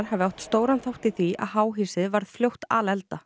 hafi átt stóran þátt í því að háhýsið varð fljótt